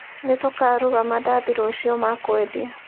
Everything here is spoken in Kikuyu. Nĩtũkaruga mandathi rũciũ ma kwedia